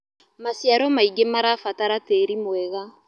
Macĩaro maĩngĩ marabatara tĩĩrĩ mwega